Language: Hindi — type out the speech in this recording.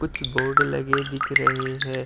कुछ बोर्ड लगे दिख रहे है ।